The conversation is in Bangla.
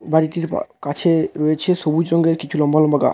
বাড়িটির বা- কাছে রয়েছ সবুজ সংঘের কিছু লম্বা লম্বা গা--